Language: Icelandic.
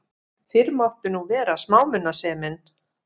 Fyrr mátti nú vera smámunasemin!